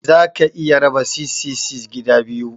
Za ka iya raba 666 gida biyu.